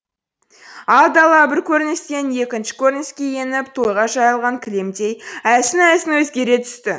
ал дала бір көріністен екінші көрініске еніп тойға жайылған кілемдей әлсін әлсін өзгере түсті